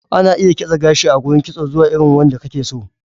Ana iya kitse gashi a gurin kitso zuwa irin wanda kake so.